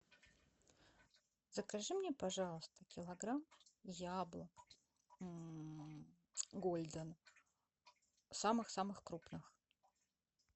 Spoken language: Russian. закажи мне пожалуйста килограмм яблок гольден самых самых крупных